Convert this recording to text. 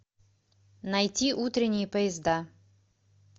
найти утренние поезда